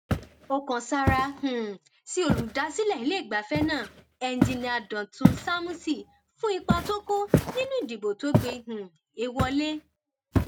ó kan sáárá um sí olùdásílẹ iléegbafẹ náà enjìnnìá dọtún sámúsì fún ipa tó kó nínú ìdìbò tó gbé um e wọlẹ